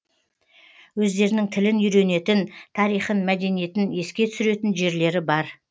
өздерінің тілін үйренетін тарихын мәдениетін еске түсіретін жерлері бар